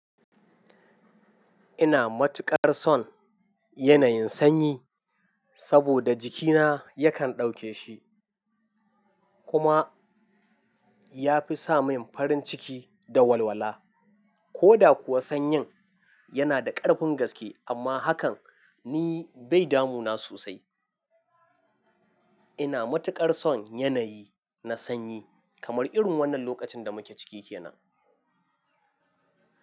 Ina matuƙar son yanayin sanyi saboda jikina yakan dauke shi kuma ya fi sa min farin ciki da walwala. Ko da kuwa sanyin yana da ƙarfin gaske amma hakan ni bai damu na sosai. Ina matuƙar son yanayi na sanyi kamar irin wannan lokacin da muke ciki kenan.